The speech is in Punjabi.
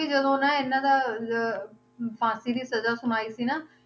ਜਦੋਂ ਨਾ ਇਹਨਾਂ ਦਾ ਜ~ ਫਾਂਸੀ ਦੀ ਸਜ਼ਾ ਸੁਣਾਈ ਸੀ ਨਾ,